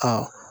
Kɛ